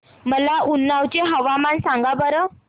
मला उन्नाव चे हवामान सांगा बरं